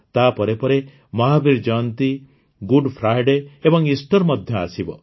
ତାପରେ ପରେ Mahavir Jayanti Good Friday ଏବଂ ଇଷ୍ଟର ମଧ୍ୟ ଆସିବ